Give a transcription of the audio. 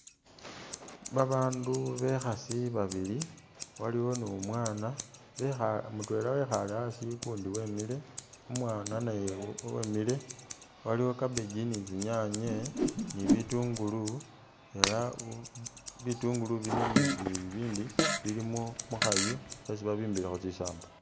Babandu bekhasi babili waliwo numwana bekha mutwela wekhale asii, ukundi wemile umwana naye wemile, waliwo cabbage ni'tsinyanye, ni bitungulu elah bitungulu bino ni bibi bibindi bili mukhayu khweesi babimbilekho ni tsisamba